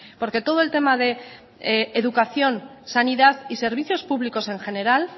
porque todo el tema de educación sanidad y servicios públicos en general